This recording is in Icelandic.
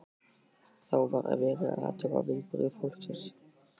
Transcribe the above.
Þá var verið að athuga viðbrögð fólksins.